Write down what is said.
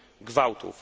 gwałtów.